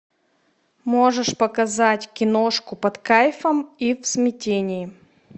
можешь показать киношку под кайфом и в смятении